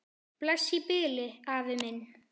Bless í bili, afi minn.